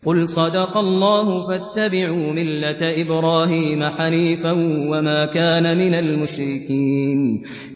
قُلْ صَدَقَ اللَّهُ ۗ فَاتَّبِعُوا مِلَّةَ إِبْرَاهِيمَ حَنِيفًا وَمَا كَانَ مِنَ الْمُشْرِكِينَ